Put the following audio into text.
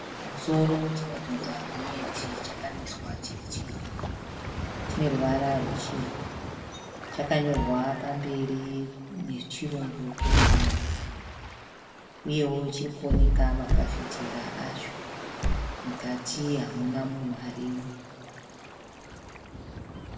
Chimusoro chinodhonza gonyeti chakamiswa chiri chega. Chineruvara ruchena. Chakanyorwa pamberi nechirungu kuti "Munhu Rume". Uyewo chiri kuoneka mafafitera acho. Mukati hamuna munhu arimo.